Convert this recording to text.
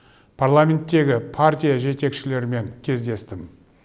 парламенттегі партия жетекшілерімен кездестім